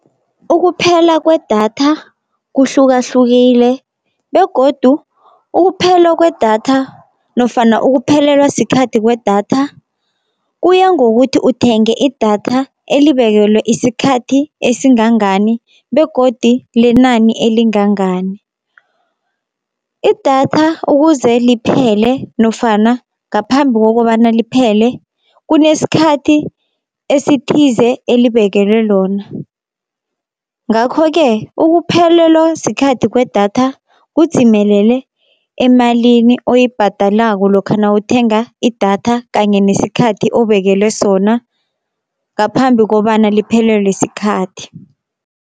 Ukuphela kwedatha kuhlukahlukile begodu ukuphelwa kwedatha, nofana ukuphelelwa sikhathi kwedatha kuya ngokuthi uthenge idatha elibekelwe isikhathi esingangani, begodi lenani elingangani. Idatha ukuze liphele nofana ngaphambi kokobana liphele kunesikhathi esithize elibekelwe lona. Ngakho-ke ukuphelelwa sikhathi kwedatha kudzimelele emalini oyibhadalako lokha nawuthenga idatha, kanye nesikhathi obekelwe sona ngaphambi kobana liphelelwe sikhathi.